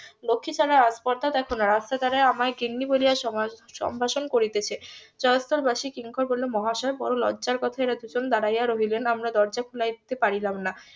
লক্ষীছাড়া আস্পর্ধা দেখো না রাস্তার ধরে আমায় গিন্নি বলিয়া সম্ভাষণ করিতেছে জয়স্তর বাসী কিঙ্কর বলিল মহাশয় বড়ো লজ্জার কথা এরা দুজন দাঁড়িয়ে রহিবেন আমরা দরজা খুলাইতে পারিলাম না